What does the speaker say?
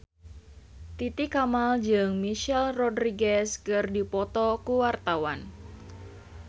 Titi Kamal jeung Michelle Rodriguez keur dipoto ku wartawan